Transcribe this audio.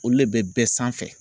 Olu le bɛ bɛɛ sanfɛ